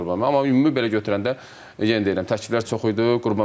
Amma ümumi belə götürəndə, yenə deyirəm, təkliflər çox idi.